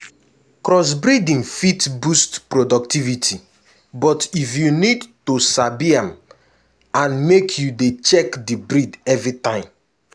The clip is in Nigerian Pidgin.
crossbreeding fit boost productivity but if you need to sabi am and make you dey check the breed everytime.